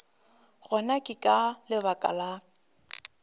gona ke ka lebaka la